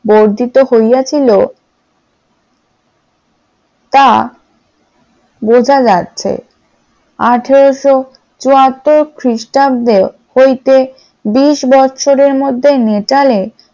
বর্ধিত হইয়াছিল, তা বোঝা যাচ্ছে আঠারোশ চুয়াত্তর খ্রিস্টাব্দে হইতে বিশ বছরের মধ্যে মিতালে